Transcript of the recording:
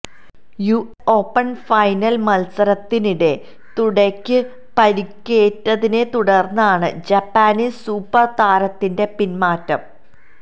US open final മത്സരത്തിനിടെ തുടയ്ക്കേറ്റ പരിക്കിനെത്തുടര്ന്നാണ് ജപ്പാനീസ് സൂപ്പര് താരത്തിന്റെ പിന്മാറ്റം